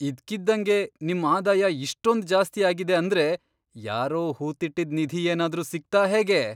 ಇದ್ಕಿದ್ದಂಗೆ ನಿಮ್ ಆದಾಯ ಇಷ್ಟೊಂದ್ ಜಾಸ್ತಿ ಆಗಿದೆ ಅಂದ್ರೆ ಯಾರೋ ಹೂತಿಟ್ಟಿದ್ ನಿಧಿ ಏನಾದ್ರೂ ಸಿಕ್ತಾ ಹೇಗೆ?!